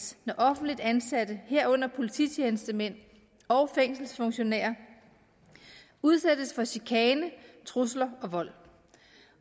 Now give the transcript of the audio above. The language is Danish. når offentligt ansatte herunder polititjenestemænd og fængselsfunktionærer udsættes for chikane trusler og vold